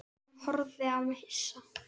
Hún horfði á mig hissa.